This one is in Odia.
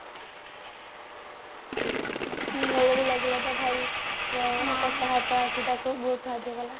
କଟା ହାତ ଆସି ତାକୁ ବହୁତ ସାହାଯ୍ୟ କଲା